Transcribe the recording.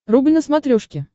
рубль на смотрешке